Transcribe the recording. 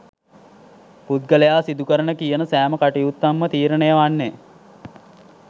පුද්ගලයා සිදුකරන කියන සෑම කටයුත්තක්ම තීරණය වන්නේ